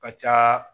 Ka ca